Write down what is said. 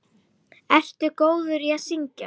Ertu góður í að syngja?